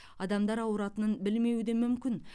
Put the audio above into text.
адамдар ауыратынын білмеуі де мүмкін